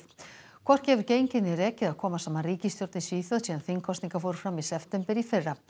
hvorki hefur gengið né rekið að koma saman ríkisstjórn í Svíþjóð síðan þingkosningar fóru fram í september í fyrra